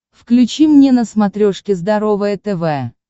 включи мне на смотрешке здоровое тв